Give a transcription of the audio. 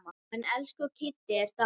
Hann elsku Kiddi er dáinn.